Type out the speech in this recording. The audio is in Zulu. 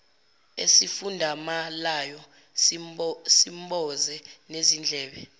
esifudumalayo simboze nezindlebe